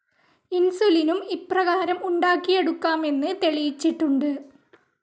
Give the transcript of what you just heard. ഇൻസുലിനും ഇപ്രകാരം ഉണ്ടാക്കിയെടുക്കാമെന്ന് തെളിയിച്ചിട്ടുണ്ട്.